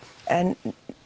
en